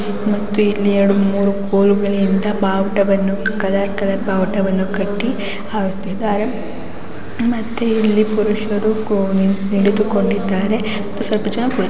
ಮತ್ತು ಇಲ್ಲಿ ಎರಡು ಮೂರು ಗೋಲುಗಳಿಂದ ಬಾವುಟಗಳನ್ನು ಕಲರ್ ಕಲರ್ ಬಾವುಟಗಳನ್ನು ಕಟ್ಟಿ ಹಾಕಿದ್ದಾರೆ ಮತ್ತೆ ಇಲ್ಲಿ ಪುರುಷರು ಕೋ ನಿಂತುಕೊಂಡಿದ್ದಾರೆ ಮತ್ತೆ ಸ್ವಲ್ಪ ಜನ ಕುಳಿತುಕೊಂಡಿದ್ದಾರೆ.